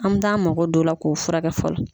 An bi t'an mago don o la k'o furakɛ fɔlɔ.